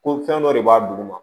Ko fɛn dɔ de b'a duguma